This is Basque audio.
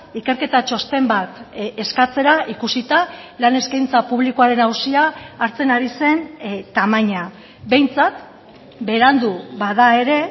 ikerketa txosten bat eskatzera ikusita lan eskaintza publikoaren auzia hartzen ari zen tamaina behintzat berandu bada ere